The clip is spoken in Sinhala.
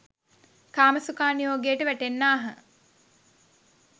කාමසුඛානුයෝගයට වැටෙන්නාහ